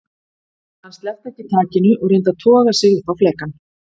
Hann sleppti ekki takinu og reyndi aftur að toga sig upp á flekann.